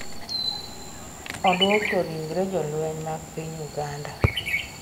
Odwoko ringre jolweny mag piny Uganda